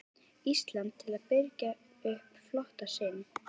Íslands til að birgja upp flota sinn.